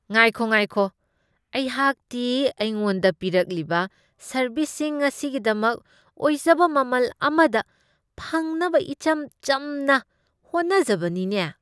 ꯉꯥꯏꯈꯣ ꯉꯥꯏꯈꯣ, ꯑꯩꯍꯥꯛꯇꯤ ꯑꯩꯉꯣꯟꯗ ꯄꯤꯔꯛꯂꯤꯕ ꯁꯔꯚꯤꯁꯁꯤꯡ ꯑꯁꯤꯒꯤꯗꯃꯛ ꯑꯣꯏꯖꯕ ꯃꯃꯜ ꯑꯃꯗ ꯐꯪꯅꯕ ꯏꯆꯝ ꯆꯝꯅ ꯍꯣꯠꯅꯖꯕꯅꯤꯅꯦ꯫